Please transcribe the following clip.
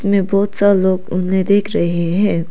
इसमें बहुत सारे लोग देख रहे हैं।